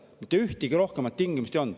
Mitte ühtegi muud tingimust ei olnud.